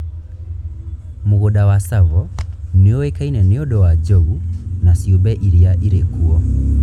Mũgũnda wa Tsavo nĩ ũĩkaine nĩ ũndũ wa njogu na ciũmbe iria irĩ kuo.